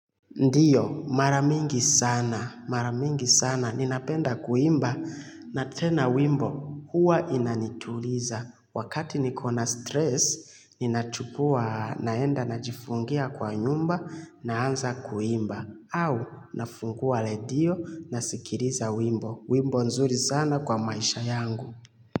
Ndiyo maramingi sana maramingi sana ninapenda kuimba na tena wimbo huwa inanituliza wakati nikona stress ninachukua naenda najifungia kwa nyumba naanza kuimba au nafungua redio nasikiriza wimbo wimbo nzuri sana kwa maisha yangu.